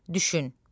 Düşün.